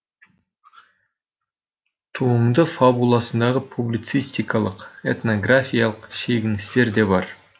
туынды фабуласындағы публицистикалық этногрфиялық шегіністер де бар